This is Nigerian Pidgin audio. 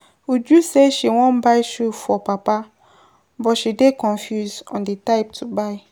Uju say she wan buy shoe for papa but she dey confused on the type to buy.